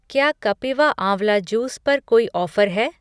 क्या कपिवा आंवला जूस पर कोई ऑफ़र है?